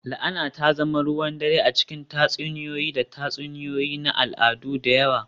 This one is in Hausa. La'ana ta zama ruwan dare a cikin tatsuniyoyi da tatsuniyoyi na al'adu da yawa